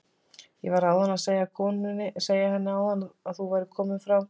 Ég var einmitt að segja henni áðan að þú værir kominn frá